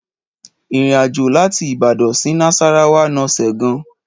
Ìrínàjò làtí Ibàdán si nàsàràwà nà sẹ gan